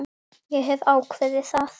Ég hef ákveðið það.